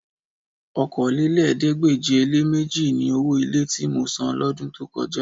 Okòólélẹ́ẹ̀ẹ́dégbèje-le-méjì ni owó ilé tí mo san lọ́dún tó kọjá